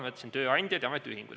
Ma ütlesin: tööandjad ja ametiühingud.